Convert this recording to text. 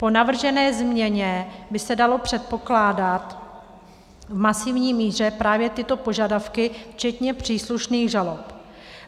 Po navržené změně by se daly předpokládat v masivní míře právě tyto požadavky včetně příslušných žalob.